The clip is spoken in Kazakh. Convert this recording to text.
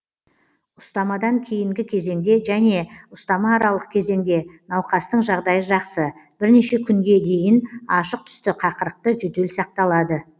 ұстамадан кейінгі кезеңде және ұстама аралық кезеңде науқастың жағдайы жақсы бірнеше күнге дейін ашық түсті қақырықты жөтел сақталады